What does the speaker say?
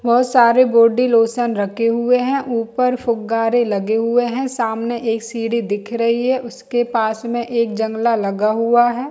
बहुत सारे body lotion रखे हुए है ऊपर फुग्गारे लगे हुए है सामने एक सीढ़ी दिख रही है उसके पास में एक जंगला लगा हुआ है।